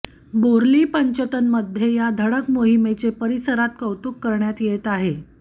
बोर्लीपंचतनमध्ये या धडक मोहिमेचे परिसरांत कौतुक करण्यात येत आहे